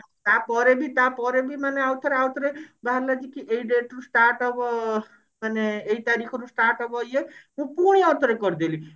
ତାପରେ ବି ତାପରେ ବି ମାନେ ଆଉଥରେ ଆଉଥରେ କଣ ହେଲାକି ଏଇ date ରୁ start ହେବ ମାନେ ଏଇ ତାରିଖରୁ start ହେବ ଇଏ ମୁଁ ପୁଣି ଆଉ ଥରେ କରିଦେଲି